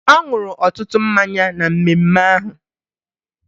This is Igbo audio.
Ọ ṅụrụ ọtụtụ mmanya na mmemme ahụ